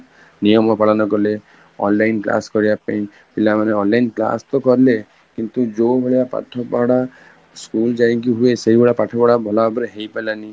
ନିୟମ ପାଳନ କଲେ, online class କରିବା ପାଇଁ ପିଲା ମେ online class ତ କଲେ କିନ୍ତୁ ଯୋଉ ଭଳିଆ ପାଠ ପଢା school ଯାଇକି ହୁଏ ସେଇ ଭଳିଆ ପାଠ ପଢା ଭଲ ଭାବରେ ହେଇ ପାରିଲାନି